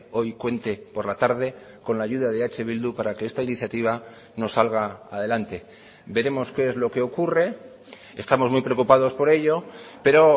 hoy cuente por la tarde con la ayuda de eh bildu para que esta iniciativa no salga adelante veremos qué es lo que ocurre estamos muy preocupados por ello pero